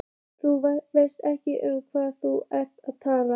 Þú veist ekki um hvað þú ert að tala.